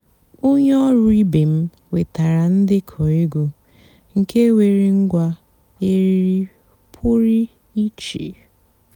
ónyé ọ̀rụ́ ìbé m wètárá ǹdékọ́ ègwú nkè nwèré ǹgwá èrírí pụ́rí ìchè.